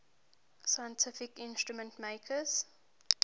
scientific instrument makers